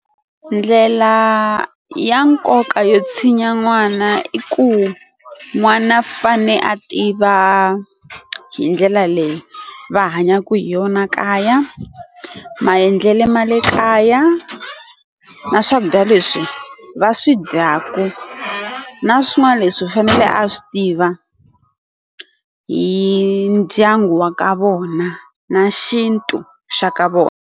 Ndlela ya nkoka yo tshinya n'wana i ku n'wana u fane a tiva hi ndlela leyi va hanyaka hi yona kaya, maendlele ma le kaya, na swakudya leswi va swi dyaka na swin'wana leswi u fanele a swi tiva hi ndyangu wa ka vona na xintu xa ka vona.